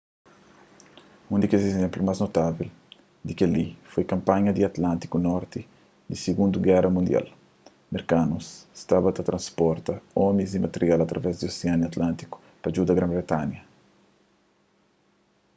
un di kes izénplu más notável di kel-li foi kanpanha di atlântiku norti di sigundu géra mundial merkanus staba ta tenta transporta omis y material através di osianu atlântiku pa djuda gran-britanha